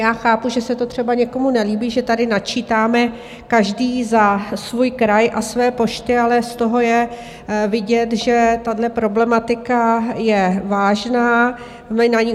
Já chápu, že se to třeba někomu nelíbí, že tady načítáme každý za svůj kraj a své pošty, ale z toho je vidět, že tahle problematika je vážná.